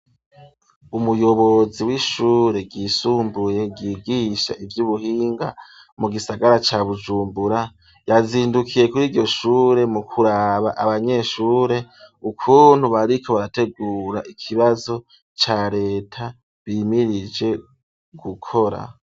Umuyobozi w'ishure ryisumbuye ryigisha ivy'ubuhinga mu gisagara ca Bujumbura, yazindukiye kuri iryoshure mu kuraba abanyeshure ukuntu bariko barategura ikibazo ca Leta bimirije gukora.